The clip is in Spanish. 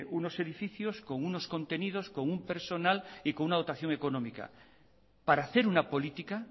unos edificios con unos contenidos con un personal y con una dotación económica para hacer una política